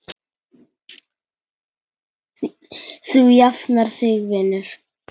Þú jafnar þig vinur.